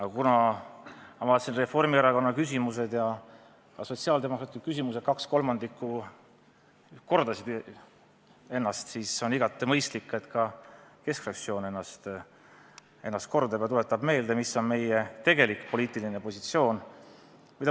Aga kuna ma vaatasin, et Reformierakonna küsimustest ja sotsiaaldemokraatide küsimustest kaks kolmandikku kordasid ennast, siis on igati mõistlik, et ka keskfraktsioon ennast kordab ja tuletab meelde, mis on meie tegelik poliitiline positsioon.